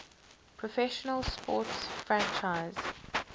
professional sports franchise